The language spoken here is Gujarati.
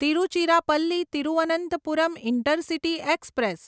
Tiruchirappalli Thiruvananthapuram intercity express